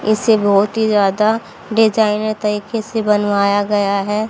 इसे बहुत ही ज्यादा डिजाइनर तरीके से बनवाया गया है।